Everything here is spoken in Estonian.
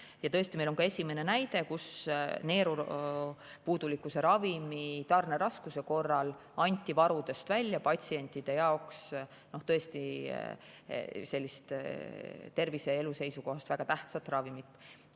Ja tõesti, meil on ka esimene näide, kus neerupuudulikkuse ravimi tarneraskuse korral anti varudest välja patsientide tervise ja elu seisukohast väga tähtsat ravimit.